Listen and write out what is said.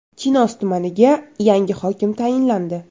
Chinoz tumaniga yangi hokim tayinlandi.